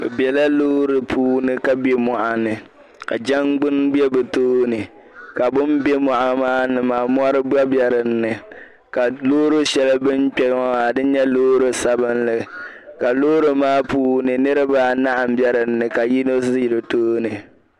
Bɛ bela loori puuni ka be mɔɣ'ni ka jangbuni be bɛ tooni ka bim be mɔɣ' maa ni maa mɔri gba be dinni ka loori shɛli bin kpe ŋo maa di nye loori sabinli ka loori maa puuni niriba anahi m-be dinni ka yino zi di tooni.